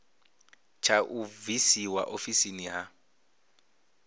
tsha u bvisiwa ofisini ha